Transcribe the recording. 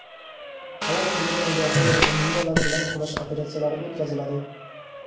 havo hujumidan mudofaa va minalar bilan kurash operatsiyalari o‘tkaziladi.